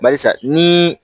Barisa ni